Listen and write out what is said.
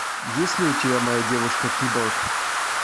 есть ли у тебя моя девушка киборг